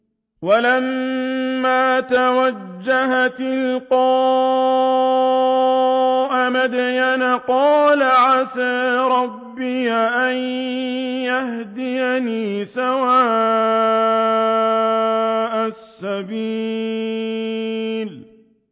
وَلَمَّا تَوَجَّهَ تِلْقَاءَ مَدْيَنَ قَالَ عَسَىٰ رَبِّي أَن يَهْدِيَنِي سَوَاءَ السَّبِيلِ